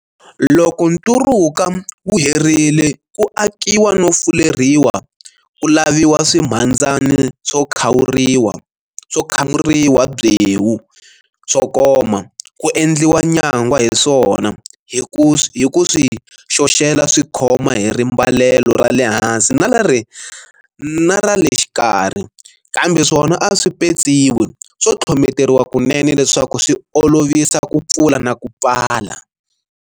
Loko nturuka wu herile ku akiwa no fuleriwa ku laviwa swimhandzani swo kwamuriwa byewu swo koma, ku endliwa nyangwa hi swona hi ku swi xoxela swi khoma hi rimbalelo ra le hansi na ra le xikarhi, kambe swona a swi petsiwi swo tlhometeriwa kunene leswaku swi olovisa ku pfula na ku pfala.